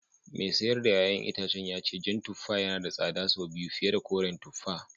Mai sayar da ’ya’yan itacen ya ce jan tuffa yana da tsada sau biyu fiye da koren tuffa